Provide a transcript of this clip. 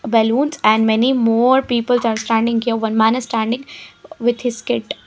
Balloons and many more peoples are standing here one man is standing with his kit.